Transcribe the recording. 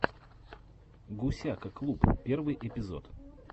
гусяка клуб первый эпизод